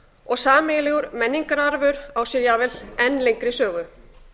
og sameiginlegur menningararfur á sér jafnvel enn lengri sögu